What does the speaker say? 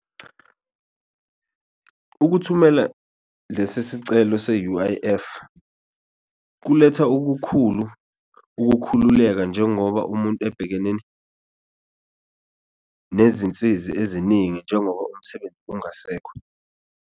Ukuthumela lesi isicelo se-U_I_F kuletha okukhulu ukukhululeka njengoba umuntu ebhekene nezinsizi eziningi njengoba ungasekho.